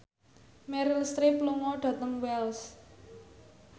Meryl Streep lunga dhateng Wells